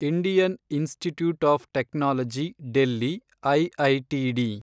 Indian institute of technology Delhi, IITD